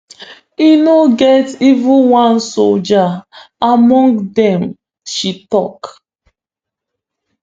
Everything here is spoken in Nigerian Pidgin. e no get even one soldier among dem she tok